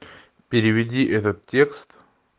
переведи этот текст